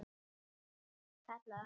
Kallaði á Helgu.